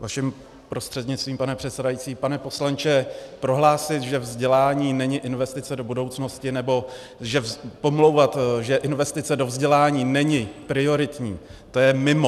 Vaším prostřednictvím, pane předsedající, pane poslanče, prohlásit, že vzdělání není investice do budoucnosti, nebo pomlouvat, že investice do vzdělání není prioritní, to je mimo.